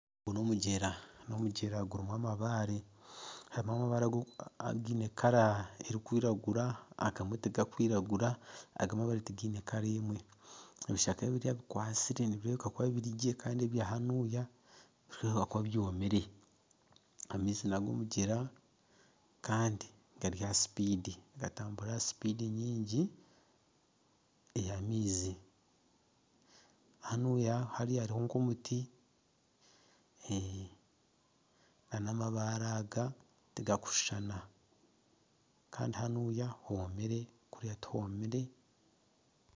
Ogu n'omugyera. N'omugyera gurimu amabare. Harimu amabare againe kara erikwiragura agamwe ti gakwiragura, agamwe amabare tigaine kara emwe. Ebishaka ebimwe bikwatsire nibirebeka kuba biri gye kandi ebya hanuya nibirebeka kuba byomire. Amaizi n'agomugyera kandi gari aha sipidi nigatambura ha sipidi nyingi eya amaizi. Hariya hariho nk'omuti na namabare aga tigakushushana kandi hanuya homire kuriya tihomire.